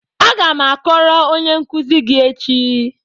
Aga m akọrọ onye nkuzi gị echi.